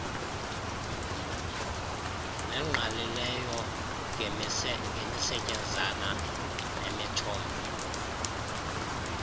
nengqalileyo ngemisetyenzana nemithombo